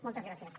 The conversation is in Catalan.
moltes gràcies